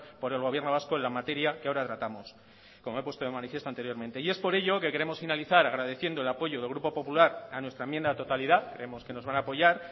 por el gobierno vasco en la materia que ahora tratamos como he puesto de manifiesto anteriormente y es por ello que queremos finalizar agradeciendo el apoyo del grupo popular a nuestra enmienda a la totalidad creemos que nos van a apoyar